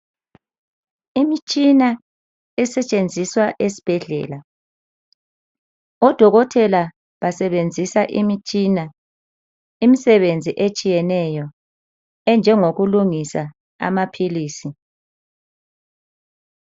Imtshina esetshenziswa esibhedlela odokotela basebenzisa Imtshina imsebenzi ehlukeneyo enjengoku lungisa amaphilisi.